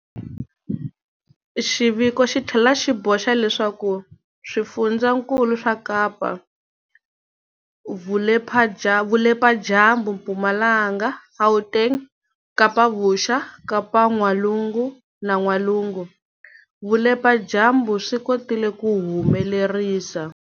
Xiviko xi tlhela xi boxa leswaku swifundzankulu swa Kapa-Vupeladyambu, Mpumalanga, Gauteng, Kapa-Vuxa, Kapa-N'walungu na N'walugu-Vupeladyambu swi kotile ku humelerisa